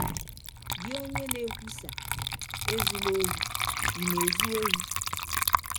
Gị ọnye na - ekwụsa ‘ Ezụla ọhi, ’ ị̀ na - ezụ ọhi? ”